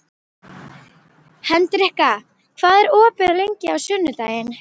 Hendrikka, hvað er opið lengi á sunnudaginn?